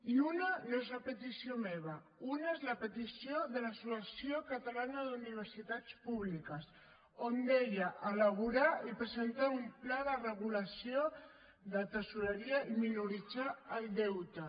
i una no és a petició meva una és la petició de l’associació catalana d’universitats públiques on deia elaborar i presentar un pla de regulació de tresoreria i minorar el deute